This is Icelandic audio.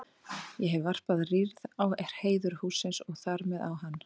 Ég hef varpað rýrð á heiður hússins og þar með á hann.